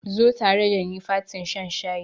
Zo tare dani fatin shan shayin.